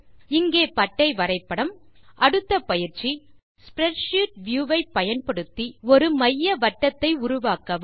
இங்கே பட்டை வரைபடம் அடுத்த பயிற்சி ஸ்ப்ரெட்ஷீட் வியூ வை பயன்படுத்தி ஒருமையவட்டங்கள் உருவாக்கவும்